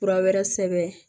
Fura wɛrɛ sɛbɛn